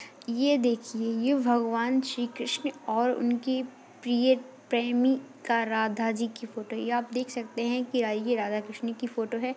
ये देखिये ये भगवन श्री कृष्ण और उनके प्रिये प्रेमिका राधा जी की फोटो है ये आप देख सकते है की ये आईये राधा कृष्ण की फोटो है।